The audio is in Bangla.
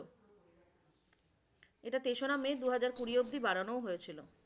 এটা তেসরা মে দু হাজার কুড়ি অব্দি বাড়ানোও হয়েছিল।